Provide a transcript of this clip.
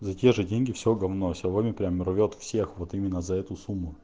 за те же деньги все говно сяоми прям рвёт всех вот именно за эту сумму